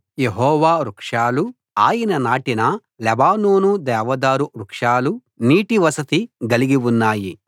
యెహోవా వృక్షాలు ఆయన నాటిన లెబానోను దేవదారు వృక్షాలు నీటి వసతి గలిగి ఉన్నాయి